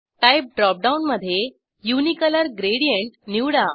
type dropdown मधे unicolour gradient निवडा